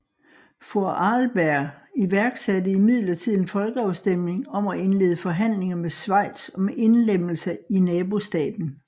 Vorarlberg iværksatte imidlertid en folkeafstemning om at indlede forhandlinger med Schweiz om indlemmelse i nabostaten